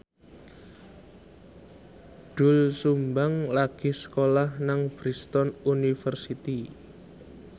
Doel Sumbang lagi sekolah nang Bristol university